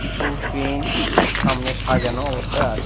কিছু পেন সামনে সাজানো অবস্থায় আছে।